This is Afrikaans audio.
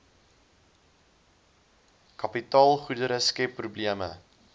kapitaalgoedere skep probleme